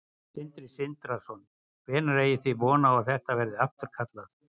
Sindri Sindrason: Hvenær eigið þið þá von á að þetta verði afturkallað?